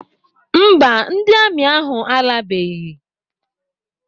Mba, ndị amị ahụ alabeghị.